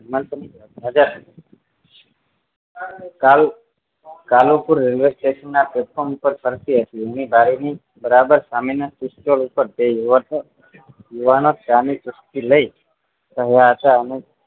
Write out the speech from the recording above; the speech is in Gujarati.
કાલુ કાલુપુર railway station નાં platform ઉપર ફરતી હતી train ની બારી ની બરાબર સામે નાં sit ઉપર બે યુવાનો ચા ની ચુસ્કી લઈ